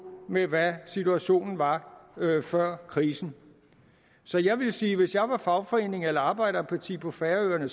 med hvad situationen var før krisen så jeg vil sige at hvis jeg var fagforening eller arbejderparti på færøerne